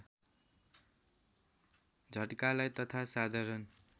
झट्कालाई तथा साधारण